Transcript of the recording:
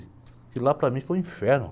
Aquilo lá para mim foi um inferno.